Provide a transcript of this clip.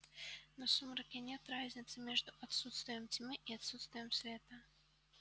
но в сумраке нет разницы между отсутствием тьмы и отсутствием света